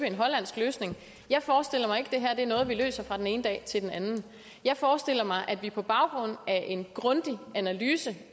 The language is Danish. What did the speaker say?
en hollandsk løsning jeg forestiller mig ikke det her er noget vi løser fra den ene dag til den anden jeg forestiller mig at vi på baggrund af en grundig analyse